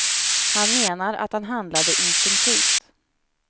Han menar att han handlade instinktivt.